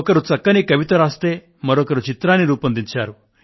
ఒకరు చక్కని కవిత రాస్తే మరొకరు చిత్రాన్ని రూపొందించారు